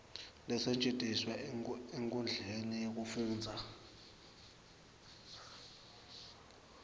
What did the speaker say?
lasetjentiswa enkhundleni yekufundza